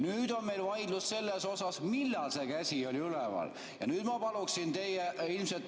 Nüüd on meil vaidlus selle üle, millal see käsi oli üleval.